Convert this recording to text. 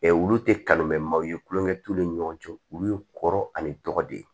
olu tɛ kalon mɛn maaw ye tulonkɛ t'u ni ɲɔgɔn cɛ olu ye kɔrɔ ani tɔgɔ de ye